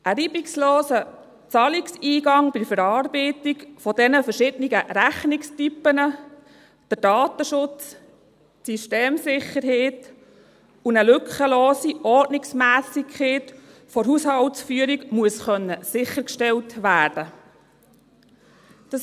Ein reibungsloser Zahlungseingang bei der Verarbeitung dieser verschiedenen Rechnungstypen, der Datenschutz, die Systemsicherheit und eine lückenlose Ordnungsmässigkeit der Haushaltsführung müssen sichergestellt werden können.